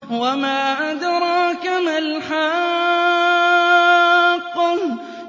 وَمَا أَدْرَاكَ مَا الْحَاقَّةُ